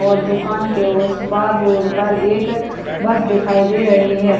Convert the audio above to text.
और दुकान के उसे पर रोड पर एक बस दिखाई दे रही है।